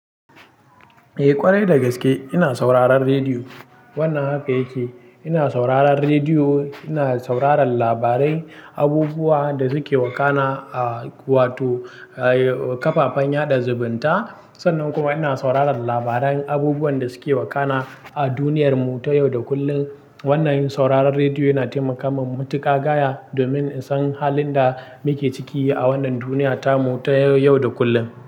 Eh ƙwarai da gaske ina sauraron rediyo. Wannan haka yake, ina sauraron rediyo, ina sauraron labarai, abubuwan da suke wakana a wato ƙafafen yaɗa zumunta. Sannan kuma ina sauraron labaran abubuwan da suke wakana a duniyar mu ta yau da kullum. Wannan yin sauraron rediyo yana taimaka min matuƙa gaya domin in san halin da muke ciki a wannan duniya ta mu ta yau da kullum.